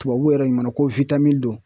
Tubabuw yɛrɛ ɲumana ko don